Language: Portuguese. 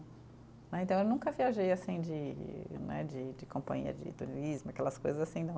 Né, então eu nunca viajei assim de né, de de companhia de turismo, aquelas coisas assim não.